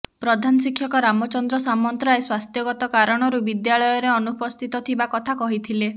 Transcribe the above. ପ୍ରଧାନ ଶିକ୍ଷକ ରାମଚନ୍ଦ୍ର ସାମନ୍ତରାୟ ସ୍ୱାସ୍ଥ୍ୟଗତ କାରଣରୁ ବିଦ୍ୟାଳୟରେ ଅନୁପସ୍ଥିତ ଥିବା କଥା କହିଥିଲେ